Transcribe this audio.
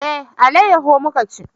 Eh, alayaho muka ci